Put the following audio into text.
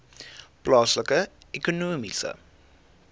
plaaslike ekonomiese